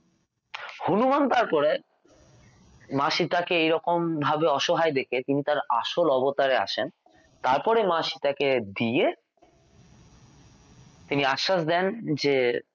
হনুমান তারপরে মা সীতা কে এরকম ভাবে অসহায় দেখে তিনি তাঁর আসল অবতারে আসেন তারপরে মা সীতা দিয়ে তিনি আশ্বাস দেন যে